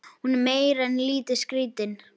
Hún er meira en lítið skrítin.